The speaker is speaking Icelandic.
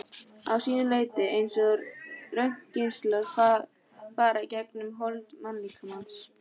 að sínu leyti eins og röntgengeislar fara gegnum hold mannslíkamans.